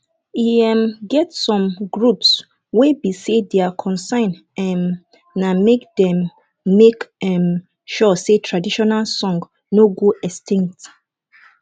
e um get some groups wey be sey their concern um na make dem make um sure say traditional song no go extinct